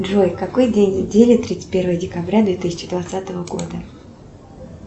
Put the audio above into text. джой какой день недели тридцать первое декабря две тысячи двадцатого года